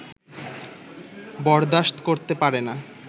বরদাশত করতে পারে না